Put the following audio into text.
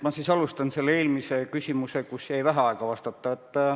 Ma siis alustan vastusest eelmisele küsimusele, kus mul jäi vähe aega vastata.